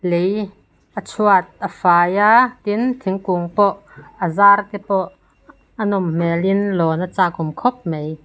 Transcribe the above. lei a chhuat a fai a tin a thingkung pawh a zar te pawh a nawm hmelin lawn a chakawm khawp mai.